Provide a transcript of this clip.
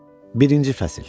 Birinci fəsil.